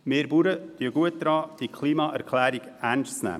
Wir Bauern tun gut daran, die Klimaerklärung ernst zu nehmen.